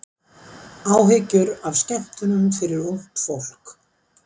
Áhyggjur af skemmtunum fyrir ungt fólk